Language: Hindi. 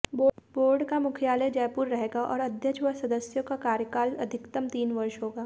बोर्ड का मुख्यालय जयपुर रहेगा और अध्यक्ष व सदस्यों का कार्यकाल अधिकतम तीन वर्ष होगा